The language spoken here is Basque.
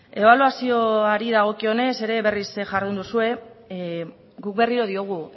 ebaluazioari dagokionez ere berriz jardun duzue guk berriro diogu